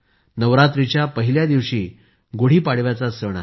नवरात्राच्या पहिल्या दिवशी गुढी पाडव्याचा सणही आहे